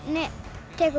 tekur